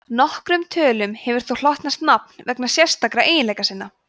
nokkrum tölum hefur þó hlotnast nafn vegna sérstakra eiginleika sinna